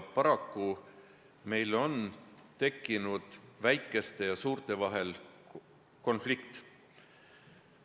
Paraku meil on tekkinud väikeste ja suurte vahel konflikt.